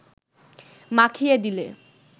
মাখিয়ে দিলে